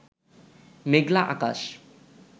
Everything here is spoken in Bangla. মেঘলা আকাশ